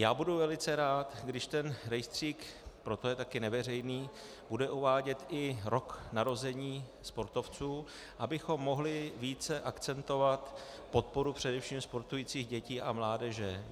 Já budu velice rád, když ten rejstřík, proto je také neveřejný, bude uvádět i rok narození sportovců, abychom mohli více akcentovat podporu především sportujících dětí a mládeže.